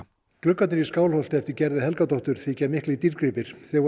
gluggarnir í Skálholti eftir Gerði Helgadóttur þykja miklir dýrgripir þeir voru